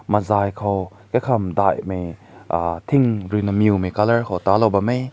mazai ko kai kam meh uh tin deui me colour ta la bam meh.